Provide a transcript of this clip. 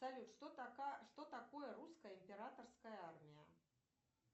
салют что такое русская императорская армия